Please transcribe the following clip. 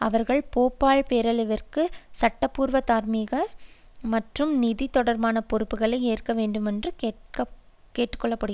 அவர்கள் போபால் பேரழிவிற்கு சட்டப்பூர்வ தார்மீக மற்றும் நிதி தொடர்பான பொறுப்புக்களை ஏற்க வேண்டுமென்று கேட்டு கொண்டனர்